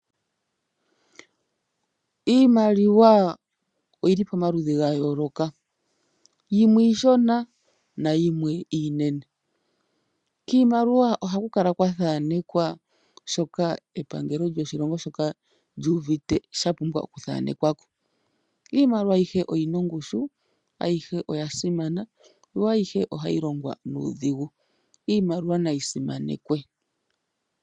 Iimaliwa oyili pomaludhi ga yooloka, yimwe iishona nayimwe iinene, kiimaliwa ohaku kala kwathanekwa shoka epangelo lyoshilongo shoka lyuuvite sha pumbwa oku thanekwako. Iimaliwa ayihe oyina ongushu, ayihe oya simana, yo ayihe ohayi longwa nuudhigu. Iimaliwa nayi simanekwe.